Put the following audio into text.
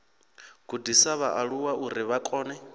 gudisa vhaaluwa uri vha kone